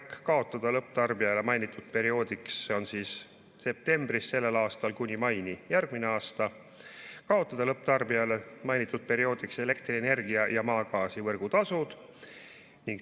Esiteks, kaotada lõpptarbijale mainitud perioodiks, see on september sellel aastal kuni mai järgmine aasta, elektrienergia ja maagaasi võrgutasud.